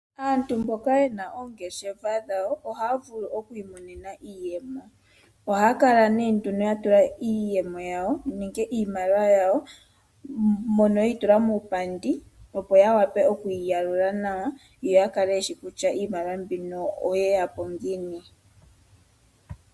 Aantu mboka yena oongeshefa dhawo ohaya vulu okwi imonena iiyemo. Ohaya kala nduno ya tula iiyemo yawo nenge iimaliwa yawo mono yeyi tula muupandi, opo ya wape yeyi yalule nawa yoya kale yeshi kutya iimaliwa mbino oyeya po ngiini.